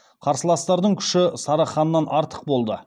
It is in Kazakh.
қарсыластардың күші сары ханнан артық болды